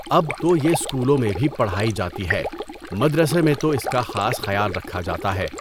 اب تو یہ اسکولوں میں بھی پڑھائی جاتی ہے، مدرسے میں تو اس کا خاص خیال رکھا جاتا ہے۔